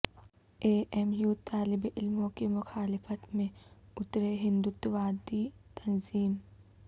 اے M U طالب علموں کی مخالفت میں اترے ہندتواوادی تنظیم